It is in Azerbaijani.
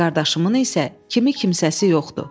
Qardaşımın isə kimi kimsəsi yoxdur.